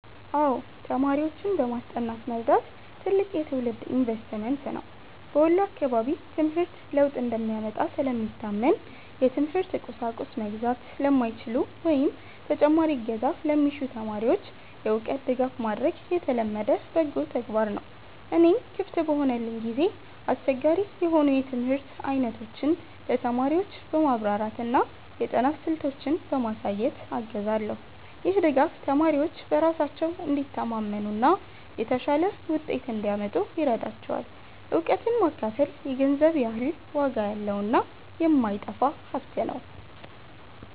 አዎ፣ ተማሪዎችን በማስጠናት መርዳት ትልቅ የትውልድ ኢንቨስትመንት ነው። በወሎ አካባቢ ትምህርት ለውጥ እንደሚያመጣ ስለሚታመን፣ የትምህርት ቁሳቁስ መግዛት ለማይችሉ ወይም ተጨማሪ እገዛ ለሚሹ ተማሪዎች የእውቀት ድጋፍ ማድረግ የተለመደ በጎ ተግባር ነው። እኔም ክፍት በሆነልኝ ጊዜ አስቸጋሪ የሆኑ የትምህርት አይነቶችን ለተማሪዎች በማብራራትና የጥናት ስልቶችን በማሳየት አግዛለሁ። ይህ ድጋፍ ተማሪዎች በራሳቸው እንዲተማመኑና የተሻለ ውጤት እንዲያመጡ ይረዳቸዋል። እውቀትን ማካፈል የገንዘብ ያህል ዋጋ ያለውና የማይጠፋ ሀብት ነው።